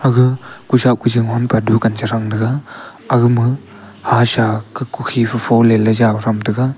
aga kushah kujing ham pe dukan che thang tega aga ma kukhe fole le tham tega.